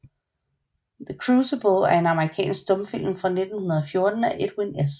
The Crucible er en amerikansk stumfilm fra 1914 af Edwin S